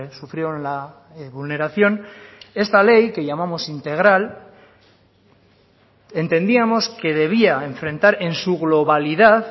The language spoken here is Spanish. sufrieron la vulneración esta ley que llamamos integral entendíamos que debía enfrentar en su globalidad